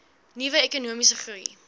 nuwe ekonomiese groei